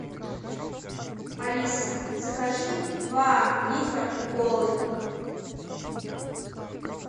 алиса закажи два литра кока колы